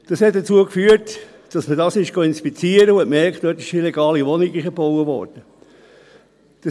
» Dies führte dazu, dass man diesen inspizierte und merkte, dass dort eine illegale Wohnung eingebaut worden war.